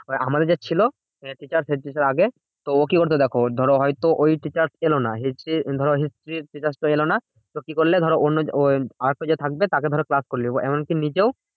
আমাদের যে ছিল head teacher head teacher আগের। তো ও কি করতো দেখো? ধরো হয়তো ওই teacher এলোনা। history ধরো history র teacher টা এলোনা। তো কি করলে? ধরো অন্য আরেকটা যে থাকবে তাকে ধরো class কর লেবে। এমন কি নিজেও